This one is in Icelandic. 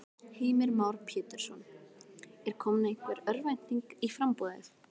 Heimir Már Pétursson: Er komin einhver örvænting í í framboðið?